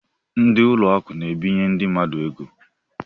Ndị ụlọ akụ na-ebinye ndị mmadụ ego.